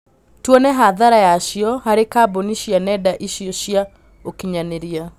Tuone hathara yacio harĩ kambuni cia nenda icio cia ũkinyanĩria